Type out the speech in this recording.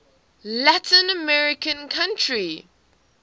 latin american country